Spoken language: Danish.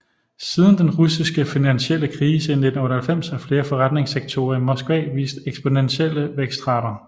Siden den russiske finansielle krise i 1998 har flere forretningssektorer i Moskva vist eksponentielle vækstrater